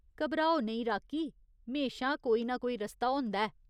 घबराओ नेईं, राकी। म्हेशां कोई ना कोई रस्ता होंदा ऐ।